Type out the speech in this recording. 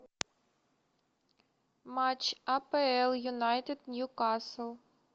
матч апл юнайтед ньюкасл